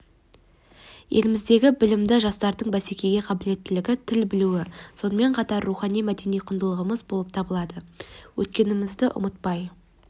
еліміздегі білімді жастардың бәсекеге қабілеттілігі тіл білуі сонымен қатар рухани мәдени құндылығымыз болып табылады өткенімізді ұмытпай